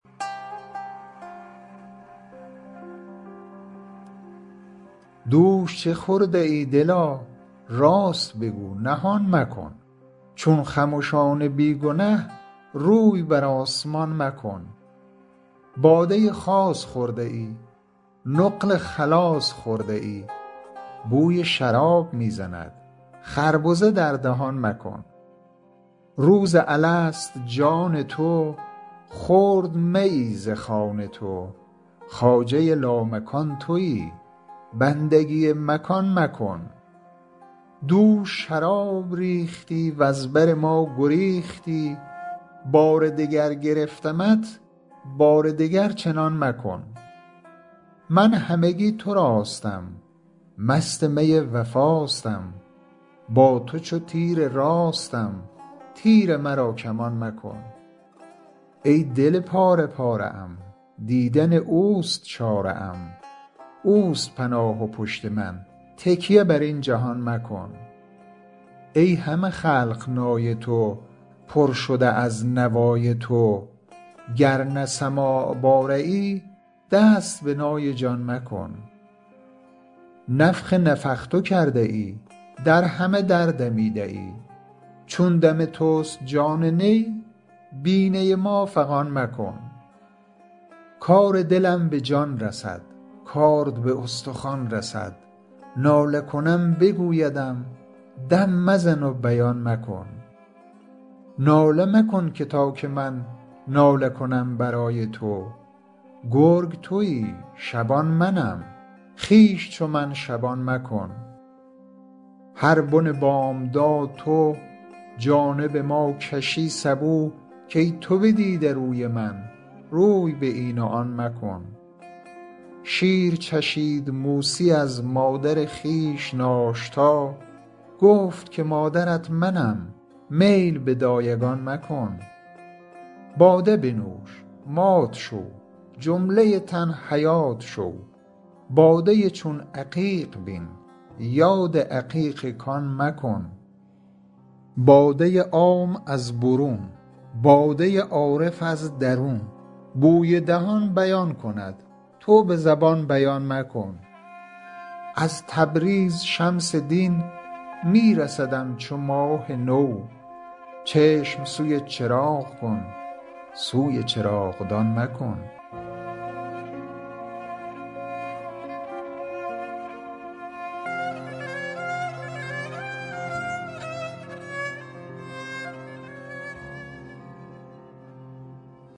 دوش چه خورده ای دلا راست بگو نهان مکن چون خمشان بی گنه روی بر آسمان مکن باده خاص خورده ای نقل خلاص خورده ای بوی شراب می زند خربزه در دهان مکن روز الست جان تو خورد میی ز خوان تو خواجه لامکان تویی بندگی مکان مکن دوش شراب ریختی وز بر ما گریختی بار دگر گرفتمت بار دگر چنان مکن من همگی تراستم مست می وفاستم با تو چو تیر راستم تیر مرا کمان مکن ای دل پاره پاره ام دیدن اوست چاره ام اوست پناه و پشت من تکیه بر این جهان مکن ای همه خلق نای تو پر شده از نوای تو گر نه سماع باره ای دست به نای جان مکن نفخ نفخت کرده ای در همه در دمیده ای چون دم توست جان نی بی نی ما فغان مکن کار دلم به جان رسد کارد به استخوان رسد ناله کنم بگویدم دم مزن و بیان مکن ناله مکن که تا که من ناله کنم برای تو گرگ تویی شبان منم خویش چو من شبان مکن هر بن بامداد تو جانب ما کشی سبو کای تو بدیده روی من روی به این و آن مکن شیر چشید موسی از مادر خویش ناشتا گفت که مادرت منم میل به دایگان مکن باده بنوش مات شو جمله تن حیات شو باده چون عقیق بین یاد عقیق کان مکن باده عام از برون باده عارف از درون بوی دهان بیان کند تو به زبان بیان مکن از تبریز شمس دین می رسدم چو ماه نو چشم سوی چراغ کن سوی چراغدان مکن